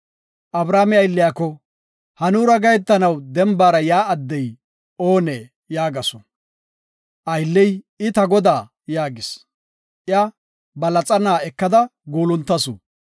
Abrahaame aylliyako, “Ha nuura gahetanaw dembara yaa addey oonee?” yaagasu. Aylley, “I, ta godaa” yaagis. Iya ba laxana ekada guuluntasu.